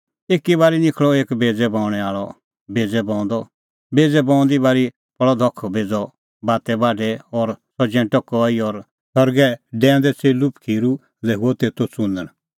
एक बऊंणैं आल़अ निखल़अ बेज़ै बऊंदअ बेज़ै बऊंदी बारी पल़अ धख बेज़अ बाते बाढै और सह जैंटअ कई और सरगै डैऊंदै च़ेल्लू पखीरू लै हुअ तेतो च़ुनण